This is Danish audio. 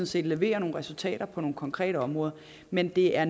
set leverer nogle resultater på nogle konkrete områder men det er